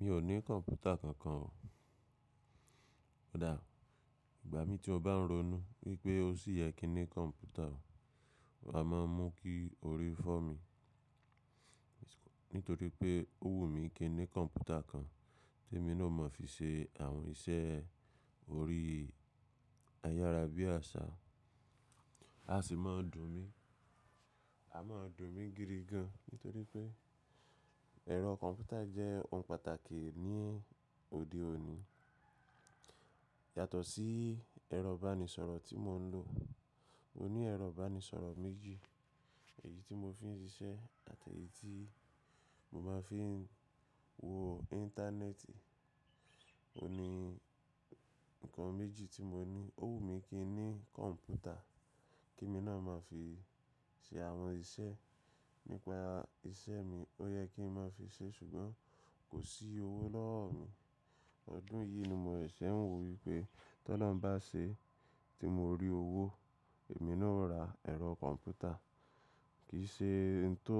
Mi ò ní kọ̀mpútà kankan o. Ó dáa, ìgbà mii tí mó bá ń ronú wípé ó sì yẹ kí n ni kọ̀mpútà o, mà máa mú kí orí fọ́ mi. Nítorí pé ó wù mí kí n ní kọ̀mpútà kan temi náà o máa fi ṣe àwọn iṣẹ́ orí ayára bí àṣá, a sì máa dùn mí. A máa dùn mí gidi gan, nítorí pé ẹ̀rọ kọ̀mpútà jẹ́ ohun pàtàkì ní òde òní. Yàtọ̀ sí ẹ̀rọ ìbánisọ̀rọ̀ tí mò ń lò, mo ní ẹ̀rọ ìbánisọ̀rọ̀ méjì. Èyí tí mo fi ń ṣiṣẹ́ àti èyí tí mo máa fi ń wo Íńtánẹ́ẹ̀tì. Ohun ní nǹkan méjì tí mo ní, ó wù mí kí n ní kọ̀mpútà kemi náà máa fi ṣe àwọn iṣẹ́ nípa ìṣe mi, ó yẹ kí n máa fi ṣe ṣùgbọ́n kò sí owó lọ́wọ́ mi. Ọdún yìí ni mò seṣe ń wo wípé tOlohun bá ṣe e tí mo rí owó èmi náà ó ra ẹ̀rọ kọ̀mpútà. Kì í ṣe ohun to,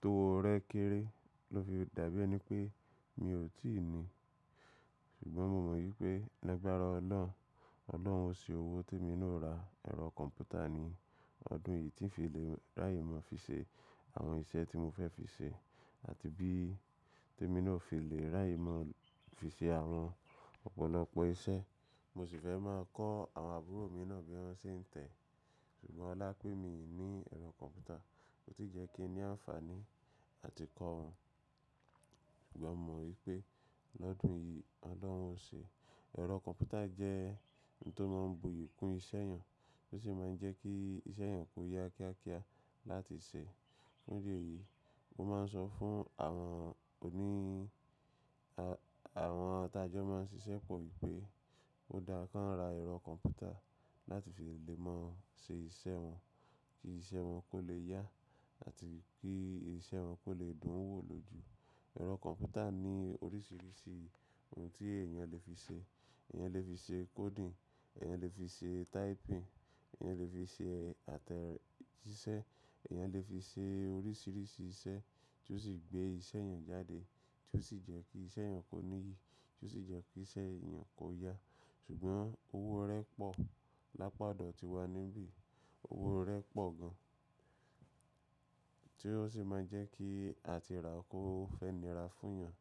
tówó rẹ kéré ló fi dàbí ẹni pé mi ò tíì ní. Ṣùgbọ́n mo mọ wípé lagbárá Olọ́hun, Olọ́hun ó ṣe owó tèmi náà ó ra ẹ̀rọ kọ̀mpútà ní ọdún yìí tí ń fi lè ráyè máa fi ṣe àwọn iṣẹ́ tí mo fẹ́ fi ṣe àti bí tèmi náà ó fi lè ráyè máa fi ṣe àwọn ọ̀pọ̀lọpọ̀ iṣẹ́. Mo sì fẹ́ máa kọ́ àwọn àbúrò mi náà bí wọ́n ṣe ń tẹ̀. Ṣùgbọ́n olá pé mi i ní ẹ̀rọ kọ̀mpútà kò tí jẹ́ kí n ní àǹfààní ati kọ́ wọn. Ṣùgbọ́n mo mọ wípé lọ́dún yìí Olọ́hun ó ṣe. Ẹ̀rọ kọ̀mpútà jẹ́ ohun tó máa ń buyì kún iṣẹ́ èèyàn, o sì máa ń jẹ́ kí iṣẹ́ èèyàn kó yá kíákíá láti ṣe. Fundi eyìí mo máa ń sọ fún àwọn òní, àwọn tajọ́ máa ń ṣiṣẹ́ pọ̀ wípé ó dára káń ra ẹ̀rọ kọ̀mpútà láti fi lè mọ ṣe iṣẹ́ wọn kí iṣẹ́ wọn kó lè yá àti kí iṣẹ́ wọn kó lè dùn wò lóju. Ẹ̀rọ kọ̀mpútà ní oríṣiríṣi ohun tí èèyàn lè fi ṣe. Ẹ̀yàn lè fi ṣe coding, èèyàn lè fi ṣe typing, èèyàn lè fi ṣe àtẹ̀jíṣẹ́, èèyàn lè fi ṣe oríṣiríṣi iṣẹ́ tí ó sì gbé iṣẹ́ èeyàn jáde tí ó sì jẹ́ kí iṣẹ́ èèyàn kó níyi, tí ó sì jẹ́ kí iṣẹ́ èèyàn kó yá. Ṣùgbọ́n owó rẹ́ pọ̀ lápa odo tíwa níbí. Owó rẹ́ pọ̀ gan tí ó sì máa jẹ́ kí àtìrà kò fẹ́ nira fúnyàn.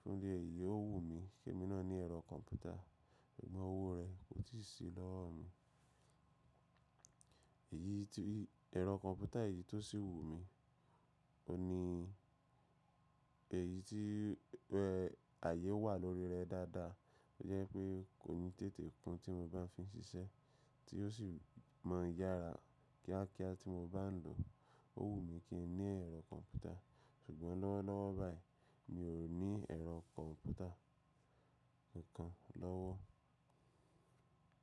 Fundi èyíi ó wù mí kèmi náà ní ẹ̀rọ kọ̀mpútà ṣùgbọ́n owó rẹ̀ kò tíì sí lọ́wọ́ mi. Èyí tí, ẹ̀rọ kọ̀mpútà yìí tó sì wù mí, óhun ní èyí tí rẹ́ ààyè wà lórí rẹ dáadáa. To je pé kò ní tètè kún tí mo bá fi n ṣiṣẹ́ tí ó sì máa ń yára kíákíá tí mo bá ń lò. O wumí kí n ní ẹ̀rọ kọ̀mpútà ṣùgbọ́n lọ́wọ́lọ́wọ́ báyìí mi ò ní ẹ̀rọ kọ̀mpútà nǹkan lọ́wọ́.